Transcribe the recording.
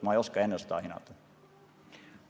Ma ei oska ennustada ja hinnata.